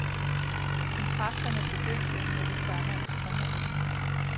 Kontrakterne begyndte med det samme at strømme til.